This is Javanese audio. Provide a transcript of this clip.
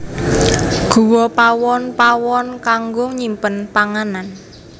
Guwa Pawon pawon kanggo nyimpen panganan